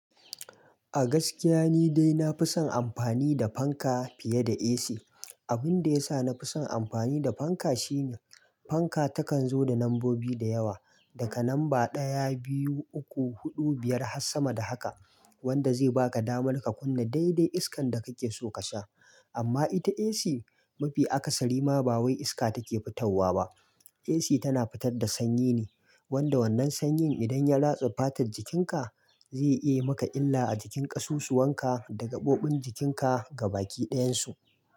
A gaskiya ni dai na fi son amfani da fanka fiye da AC. Abin da ya sa na fi son amfani da fanka shine fanka takan zo da lambobi da yawa, daga lamba ɗaya, biyu, uku, huɗu, biyar har sama da haka wanda zai baka damar ka kunna daidai iskan da kake so ka sha. Amma ita AC mafi akasari ma ba wai iska take fitar wa ba. AC tana fitar da sanyi ne wanda wannan sanyin idan ya ratsa fatar jikinka zai iya maka illa a jikin ƙasusuwan ka dagaɓoɓin jikin ka ga bakin ɗayan su.